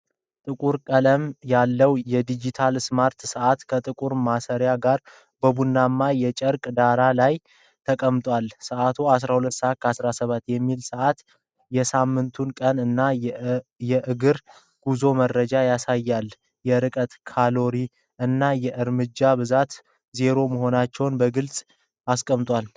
ጥቁር ቀለም ያለው ዲጂታል ስማርት ሰዓት፣ ከጥቁር ማሰሪያው ጋር በቡናማ የጨርቅ ዳራ ላይ ተቀምጧል። ሰዓቱ 12፡17 የሚለውን ሰዓት፣ የሳምንቱን ቀን እና የእግር ጉዞ መረጃዎችን ያሳያል። የርቀት፣ ካሎሪ እና የእርምጃ ብዛት ዜሮ መሆናቸውን በግልጽ አስቀምጧል።